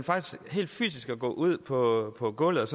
gå ud på på gulvet